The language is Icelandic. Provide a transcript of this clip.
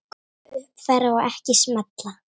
Afrita, uppfæra og ekki smella